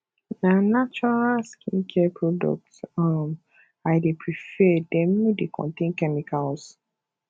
na natural skincare products um i dey prefer dem no dey contain chemicals